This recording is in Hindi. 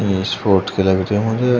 स्पोर्ट के लग रहे मुझे।